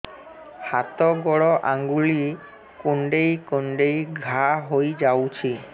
ହାତ ଗୋଡ଼ ଆଂଗୁଳି କୁଂଡେଇ କୁଂଡେଇ ଘାଆ ହୋଇଯାଉଛି